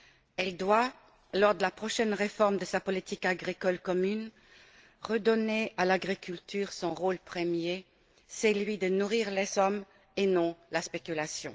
Elle doit, lors de la prochaine réforme de sa politique agricole commune, redonner à l'agriculture son rôle premier, celui de nourrir les hommes et non la spéculation.